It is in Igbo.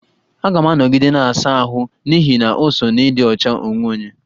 Aga m anọgide na-asa ahụ n'ihi na o so n'ịdị ọcha onwe onye